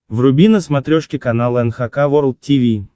вруби на смотрешке канал эн эйч кей волд ти ви